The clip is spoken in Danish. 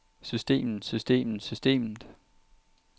systemet systemet systemet